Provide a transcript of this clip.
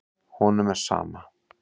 Honum er sama.